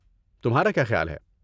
تمہارا کیا خیال ہے؟